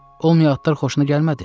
Olmayan adlar xoşuna gəlmədi?